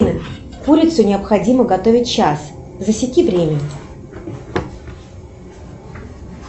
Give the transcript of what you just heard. курицу необходимо готовить час засеки время